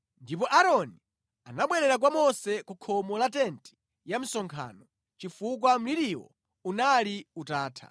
Ndipo Aaroni anabwerera kwa Mose ku khomo la tenti ya msonkhano, chifukwa mliriwo unali utatha.